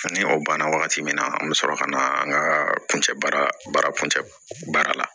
Ni o banna wagati min na an bɛ sɔrɔ ka na an ka kuncɛ baara kuncɛ baara la